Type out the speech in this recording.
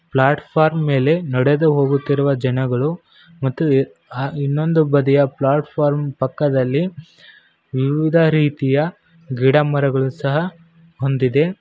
Platform ಮೇಲೆ ನಡೆದು ಹೋಗುತ್ತಿರುವ ಜನಗಳು ಮತ್ತು ಇನ್ನೊಂದು ಬದಿಯ ಪ್ಲಾಟ್ಫಾರ್ಮ್ ಪಕ್ಕದಲ್ಲಿ ವಿವಿಧ ರೀತಿಯ ಗಿಡಮರಗಳು ಸಹ ಹೊಂದಿದೆ.